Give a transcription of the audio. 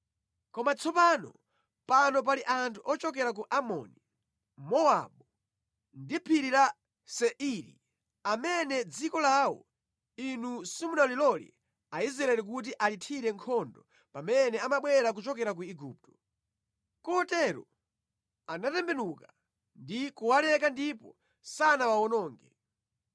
“Koma tsopano pano pali anthu ochokera ku Amoni, Mowabu ndi Phiri la Seiri amene dziko lawo Inu simunawalole Aisraeli kuti alithire nkhondo pamene amabwera kuchokera ku Igupto. Kotero anatembenuka ndi kuwaleka ndipo sanawawononge.